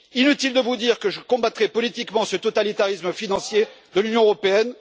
Inutile de vous dire que je combattrai politiquement ce totalitarisme financier de l'Union européenne.